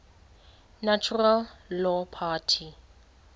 natural law party